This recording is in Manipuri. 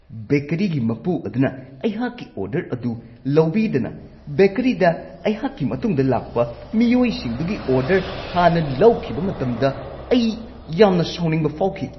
ꯕꯦꯀꯔꯤꯒꯤ ꯃꯄꯨ ꯑꯗꯨꯅ ꯑꯩꯍꯥꯛꯀꯤ ꯑꯣꯔꯗꯔ ꯑꯗꯨ ꯂꯧꯕꯤꯗꯅ ꯕꯦꯀꯔꯤꯗ ꯑꯩꯍꯥꯛꯀꯤ ꯃꯇꯨꯡꯗ ꯂꯥꯛꯄ ꯃꯤꯑꯣꯏꯁꯤꯡꯗꯨꯒꯤ ꯑꯣꯗꯔ ꯍꯥꯟꯅ ꯂꯧꯈꯤꯕ ꯃꯇꯝꯗ ꯑꯩ ꯌꯥꯝꯅ ꯁꯥꯎꯅꯤꯡꯕ ꯐꯥꯎꯈꯤ ꯫